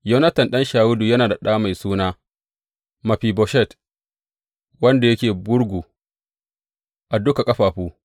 Yonatan ɗan Shawulu yana da ɗa mai suna Mefiboshet wanda yake gurgu a duka ƙafafu.